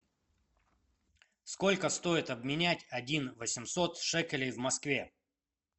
сколько стоит обменять один восемьсот шекелей в москве